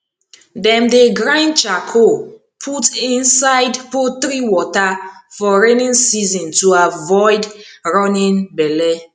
dem dey grind charcoal put inside poultry water for rainy season to avoid running belle